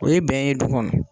O ye bɛn ye du kɔnɔ